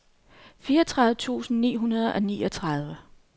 fireogtredive tusind ni hundrede og niogtredive